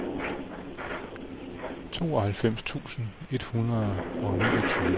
tooghalvfems tusind et hundrede og niogtyve